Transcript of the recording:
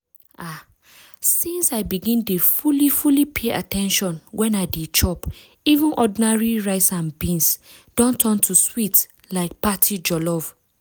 ah! since i begin dey fully fully pay at ten tion when i dey chop even ordinary rice and beans don turn to sweet like party jollof.